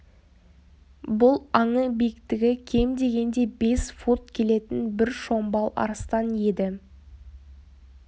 бұл аңы биіктігі кем легенде бес фут келетін бір шомбал арыстан еді